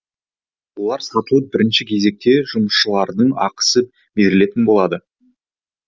олар сатылып бірінші кезекте жұмысшылардың ақысы берілетін болады